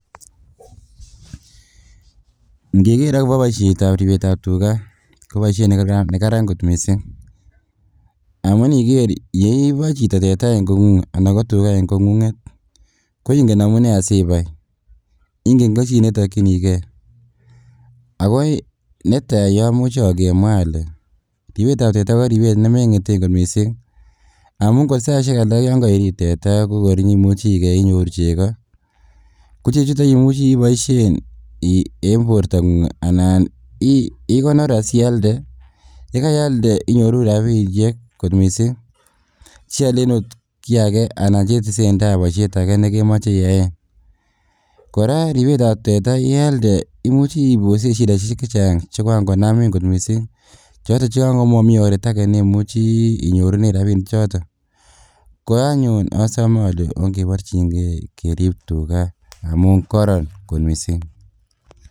Ing'eker akobo ribsetab tukaa koboishet nekaran kot mising, amun niker yeiboe chito tetaa en kong'ung'et anan ko tukaa en kong'ung'et koingen amunee sibai ing'en tokyin netokyinikee, ak ko yuton yomuche kemwaa alee ribetab tetaa ko ribet nemeng'eten kot mising amun kor saishek alak yoon koirib tetaa ko kor inyoimuche ikeii inyoru chekoo, ko chechuton koimuche iboishen en bortang'ung anan ikonor asialde, yealde inyoru rabishek kot mising, sialen oot kii akee anan chetesenda boishet akee nekemoche iyaen, kora ribetab tetaa yealde imuche ibosen shidaishek chechang chekoran konamin kot mising choton che yoon komomii oreet akee nemuchi inyorunen rabinichoton, ko anyun osome olee ong'eborching'e kerib tukaa amun koron kot mising.